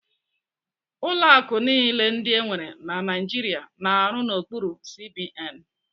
Ụlọ akụ niile ndị enwere na Naijiria na-arụ n'okpuru CBN.